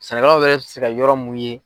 Sɛnɛkɛlaw yɛrɛ bɛ se ka yɔrɔ mun ye.